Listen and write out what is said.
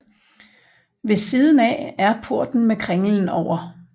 Ved siden af er porten med kringlen over